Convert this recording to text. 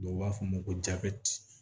Dɔw b'a fɔ ma ko